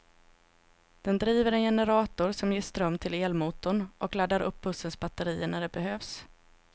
Den driver en generator, som ger ström till elmotorn och laddar upp bussens batteri när det behövs.